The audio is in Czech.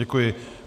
Děkuji.